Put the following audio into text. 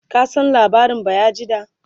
ka San labarin bayajidda?